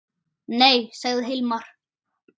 Nei, sagði Hilmar.